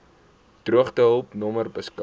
droogtehulp nommer beskik